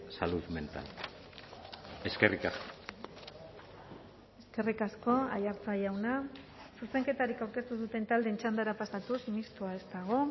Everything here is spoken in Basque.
salud mental eskerrik asko eskerrik asko aiartza jauna zuzenketarik aurkeztu ez duten taldeen txandara pasatuz mistoa ez dago